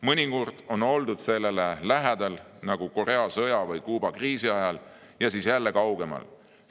Mõnikord on oldud sellele lähedal, nagu Korea sõja või Kuuba kriisi ajal, siis jälle kaugemal.